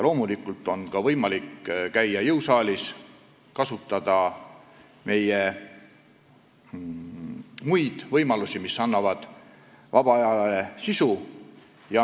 Loomulikult on võimalik käia jõusaalis, kasutada meie muid võimalusi, mis annavad vabale ajale sisu.